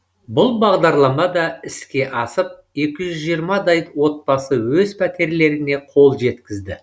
бұл бағдарлама да іске асып екі жүз жиырмадай отбасы өз пәтерлеріне қол жеткізді